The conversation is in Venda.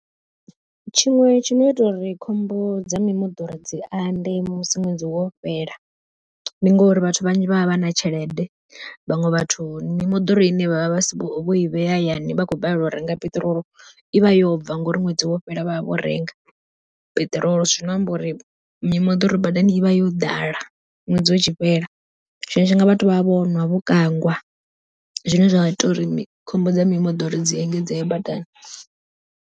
Tshiṅwe tshino ita uri khombo dza mimoḓoro dzi ande musi ṅwedzi wo fhela, ndi ngori vhathu vhanzhi vha vha vha na tshelede, vhaṅwe vhathu mimoḓoro ine vha vha vha vho i vhea hayani vhakho balelwa u renga piṱirolo i vha yobva ngori ṅwedzi wo fhela vha vha vho renga peṱirolo. Zwino amba uri mimoḓoro badani i vha yo ḓala, ṅwedzi utshi fhela tshiṅwe tshifhinga vhathu vha vha vhonwa vho kangwa zwine zwa ita uri khombo dza mimoḓoro dzi engedzee badani.